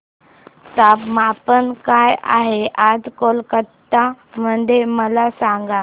तापमान काय आहे आज कोलकाता मध्ये मला सांगा